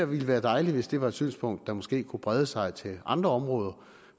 ville være dejligt hvis det var et synspunkt der måske kunne brede sig til andre områder